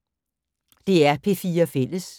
DR P4 Fælles